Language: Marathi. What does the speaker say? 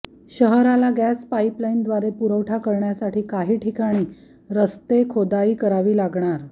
शहराला गॅस पाईपलाईनद्वारे पुरवठाकरण्यासाठी काही ठिकाणी रस्ते खोदाई करावी लागणार